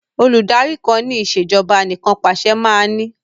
Olùdarí kan ni ìsèjọba anìkanpàṣẹ máa ní